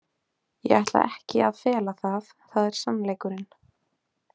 Ég ætla ekki að fela það, það er sannleikurinn.